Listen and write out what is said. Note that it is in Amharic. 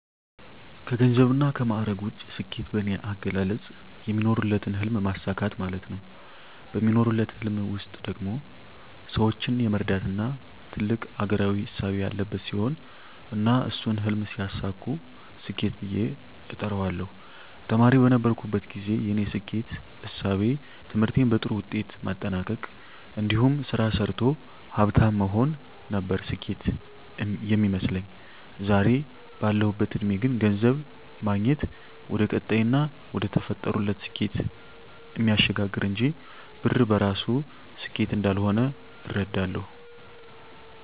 ከገንዘብና ከማዕረግ ውጭ፣ ስኬት በኔ አገላለጽ የሚኖሩለትን ህልም ማሳካት ማለት ነው። በሚኖሩለት ህልም ውስጥ ደግሞ ሰወችን የመርዳትና ትልቅ አገራዊ እሳቤ ያለበት ሲሆን እና እሱን ህልም ሲያሳኩ ስኬት ብየ እጠራዋለሁ። ተማሪ በነበርኩበት ግዜ የኔ ስኬት እሳቤ ትምህርቴን በጥሩ ውጤት ማጠናቅ እንዲሁም ስራ ሰርቶ ሀፍታም መሆን ነበር ስኬት ሚመስለኝ። ዛሬ ባለሁበት እድሜ ግን ገንዘብ ማግኘት ወደቀጣይና ወደተፈጠሩለት ስኬት እሚያሸጋግር እንጅ ብር በራሱ ስኬት እንዳልሆነ እረዳለሁ።